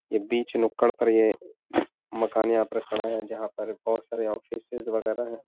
ये बीच नुक्कड़ पर ये मकान यहाँ पर खड़ा है जहां पर बहोत सारे ऑफिसेस वगेरा हैं।